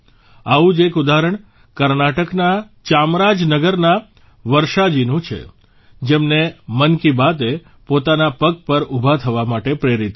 આવું જ એક ઉદાહરણ કર્ણાટકના ચામરાજનગરના વર્ષાજીનું છે જેમને મન કી બાતે પોતાના પગ પર ઉભા થવા માટે પ્રેરિત કર્યા